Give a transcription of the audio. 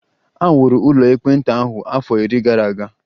E wuru ụlọ ekpenta ahụ afọ iri gara aga